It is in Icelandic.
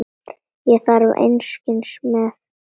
Ég þarf einskis með.